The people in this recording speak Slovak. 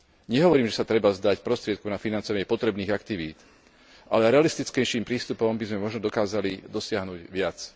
Nehovorím, že sa treba vzdať prostriedkov na financovanie potrebných aktivít, ale realistickejším prístupom by sme možno dokázali dosiahnuť viac.